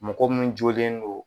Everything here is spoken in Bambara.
Mɔgɔ min jɔlen don